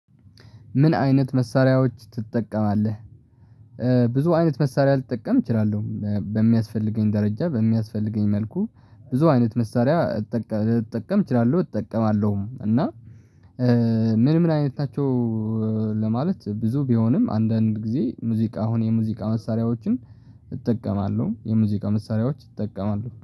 ምን አይነት መሳሪያዎች ትጠቀማለህ? ብዙ አይነት መሳሪያ ልጠቀም እችላለሁ በሚያስፈልገኝ ደረጃ በሚያስፈልገኝ መልኩ ብዙ አይነት መሳሪያ ልጠቀም እችላለሁ እጠቀማለሁም። እና ምን ምን አይነታቸው ለማለት ብዙ ቢሆንም አንዳንድ ጊዜ ሙዚቃ አሁን የሙዚቃ መሳሪያዎችን እጠቀማለሁ የሙዚቃ መሳሪያዎች እጠቀማለሁ